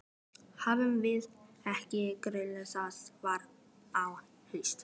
Æfum við ekki örugglega þar fram á haust?